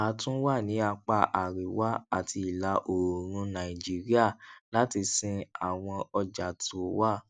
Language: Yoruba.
a tún wà ní apá àríwá àti ìlà oòrùn nàìjíríà láti sin àwọn ọjà tó wà